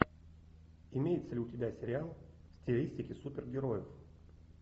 имеется ли у тебя сериал в стилистике супергероев